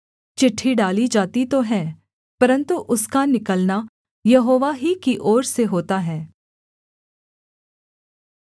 चिट्ठी डाली जाती तो है परन्तु उसका निकलना यहोवा ही की ओर से होता है